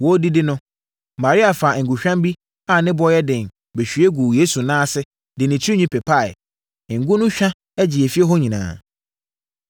Wɔredidi no, Maria faa ngohwam bi a ne boɔ yɛ den bɛhwie guu Yesu nan ase de ne tirinwi pepaeɛ. Ngo no hwa gyee efie hɔ nyinaa.